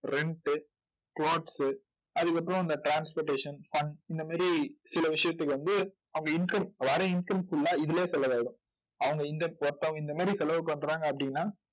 rent அதுக்கப்புறம் இந்த transportation, fun இந்த மாதிரி சில விஷயத்துக்கு வந்து அவங்க income வர income full ஆ இதிலயே செலவாயிடும். அவங்க இந்த ஒருத்தவங்க இந்த மாதிரி செலவு பண்றாங்க அப்படின்னா